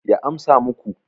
ya amsa muku